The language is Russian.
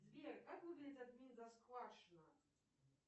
сбер как выглядит